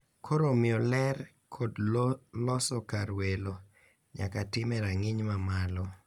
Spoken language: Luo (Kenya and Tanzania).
Koro omiyo ler kod loso kar welo nyaka tim e rang`iny mamalo.